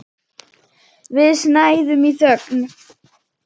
Við snæðum í þögn.